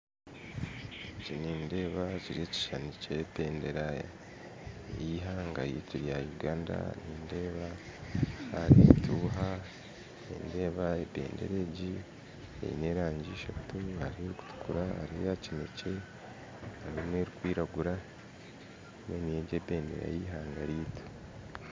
Eki nindeeba n'ekishuushani kya bendeera y'eihanga ryaitu erya Uganda nindeeba hariho entuuha nindeeba ebendeera egi aine erangi eshatu hariho erikutuukura, ayakinekye hariho n'erikwiragura egi n'ebendeera y'eihanga ryaitu